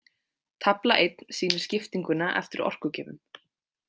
Tafla einn sýnir skiptinguna eftir orkugjöfum.